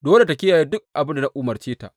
Dole tă kiyaye duk abin da na umarce mata.